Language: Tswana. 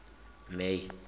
may